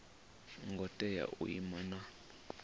ngo tea u ima na